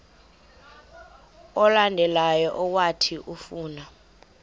olandelayo owathi ufuna